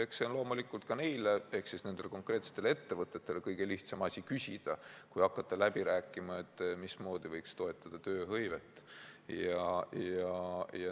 Eks loomulikult ka nendel konkreetsetel ettevõtetel on kõige lihtsam asi seda küsida, selle asemel et hakata läbi rääkima, mismoodi võiks toetada tööhõivet.